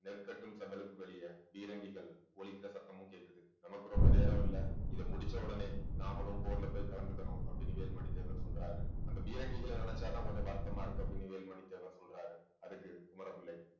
நெற்கட்டும் செவ்வலுக்கு வெளியே பீரங்கிகள் ஒலிக்கிற சத்தமும் கேட்குது நமக்கு ரொம்ப நேரம் இல்லை இதை முடிச்ச உடனே நாமளும் போர்ல போய் கலந்துக்கணும் வேல்மணி தேவர் சொல்றாரு அந்த பீரங்கிகளை நினைச்சாதான் கொஞ்சம் வருத்தமா இருக்கு அப்படின்னு வேலுமணி தேவர் சொல்றாரு அதுக்கு குமர பிள்ளை